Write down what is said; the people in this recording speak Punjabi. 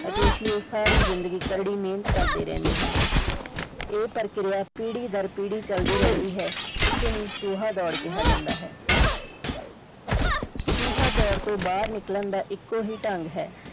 ਅਤੇ ਇਸ ਲਈ ਉਹ ਸਾਰੀ ਜ਼ਿੰਦਗੀ ਕੜੀ ਮਿਹਨਤ ਕਰਦੇ ਰਹਿੰਦੇ ਹਨ ਇਹ ਪ੍ਰਕਿਰਿਆ ਪੀੜੀ ਡਰ ਪੀੜੀ ਚਲਦੀ ਰਹਿੰਦੀ ਹੈ ਇਸੇ ਨੂੰ ਚੂਹਾ ਦੌੜ ਕਿਹਾ ਜਾਂਦਾ ਹੈ ਚੂਹਾ ਦੌੜ ਤੋਂ ਬਾਹਰ ਨਿਕਲਣ ਦਾ ਇੱਕੋ ਹੀ ਢੰਗ ਹੈ।